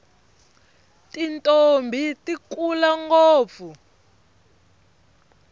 tintombhi ti kula ngopfu